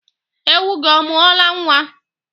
Ewu gị ọ mụọla nwa?